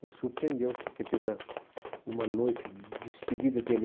Me surpreendeu, porque teve a uma noite de despedida dele.